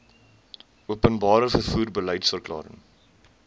openbare vervoer beliedsverklaring